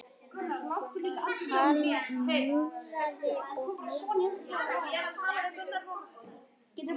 Hann múraði og múraði.